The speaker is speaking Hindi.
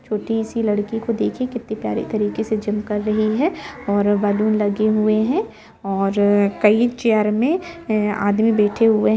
एक छोटी से लड़की को देखिए किती प्यारी तरीके से जिम कर रही है और बैलून लगे हुए है और कई चेयर में आदमी बैठे हुए है।